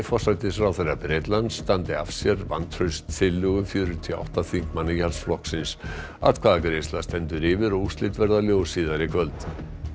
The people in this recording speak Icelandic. forsætisráðherra Bretlands standi af sér vantrauststillögu fjörutíu og átta þingmanna Íhaldsflokksins atkvæðagreiðsla stendur yfir og úrslit verða ljós síðar í kvöld